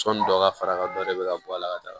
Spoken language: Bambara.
Sɔni dɔ ka fara dɔ de bɛ ka bɔ a la ka taga